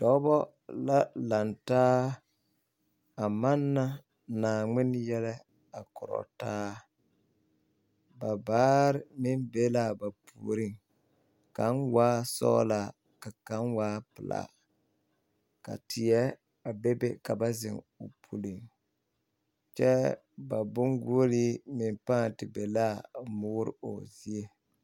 Dɔbɔ la laŋ taa a manna Naaŋmene yɛlɛ a korɔ taa ba baare meŋ be la ba puoriŋ kaŋ waa sɔglaa ka kaŋ waa pelaa ka teɛ a bebe ka ba zeŋ kyɛ ba boŋ koɔle meŋ pãã te be la a moore poɔ zie.